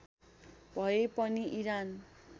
भए पनि इरान